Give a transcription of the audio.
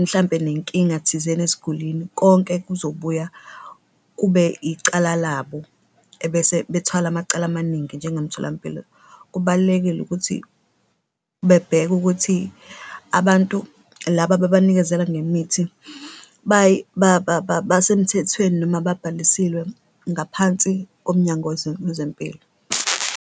mhlampe nenkinga thizeni esigulini, konke kuzobuya kube icala labo ebese bethwala amacala amaningi njengomtholampilo. Kubalulekile ukuthi bebheke ukuthi abantu laba ababanikezela ngemithi basemthethweni noma babhalisiwe ngaphansi koMnyango weZempilo.